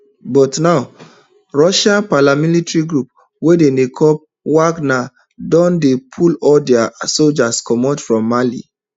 but now russian paramilitary group wey dem dey call wagner don dey pull all dia soldiers comot from mali